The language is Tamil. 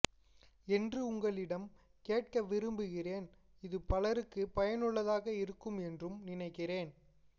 என்று உங்களிடம் கேட்க விரும்புகிறேன் இது பலருக்கும் பயனுள்ளதாக இருக்கும் என்றும் நினைக்கிறேன்